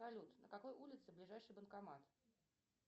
салют на какой улице ближайший банкомат